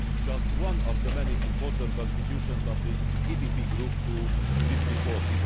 This is just one of the many important contributions of the EPP Group to this report.